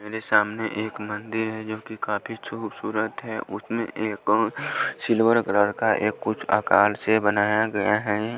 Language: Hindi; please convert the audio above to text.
मेरे सामने एक मंदिर है जो कि काफी खूबसूरत है उसमें एक और सिल्वर कलर का एक कुछ आकार से बनाया गया है।